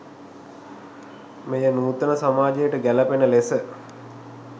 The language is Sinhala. මෙය නූතන සමාජයට ගැලපෙන ලෙස